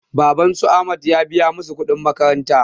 Baban su ahmad ya biya masu kuɗin makaranta